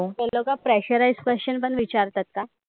ते लोकं pressurisedquestion पण विचारतात का?